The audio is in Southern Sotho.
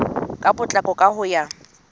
ka potlako ka ho ya